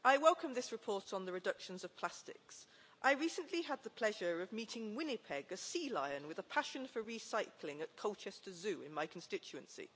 Mr President, I welcome this report on the reductions of plastics. I recently had the pleasure of meeting Winnipeg, a sea lion with a passion for recycling, at Colchester Zoo in my constituency.